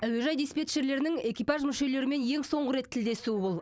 әуежай диспетчерлерінің экипаж мүшелерімен ең соңғы рет тілдесуі бұл